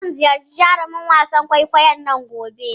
Zan ziyarci jarumin wasan kwaikwayon nan gobe.